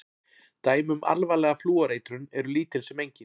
Dæmi um alvarlega flúoreitrun eru lítil sem engin.